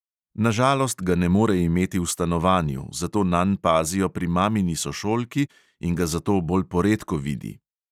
Na žalost ga ne more imeti v stanovanju, zato nanj pazijo pri mamini sošolki in ga zato bolj poredko vidi.